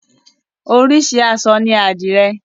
Oríṣi àṣọ ní àdìrẹ.